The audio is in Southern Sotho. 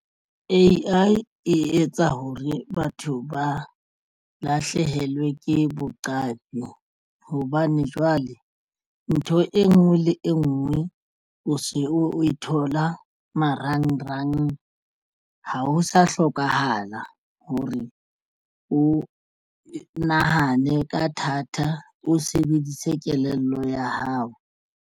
A_I e etsa hore batho ba lahlehelwe ke boqapi hobane jwale ntho e nngwe le e nngwe o se o e thola marangrang ha ho sa hlokahala hore o nahane ka thata o sebedise kelello ya hao.